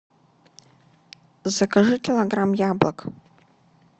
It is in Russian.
закажи килограмм яблок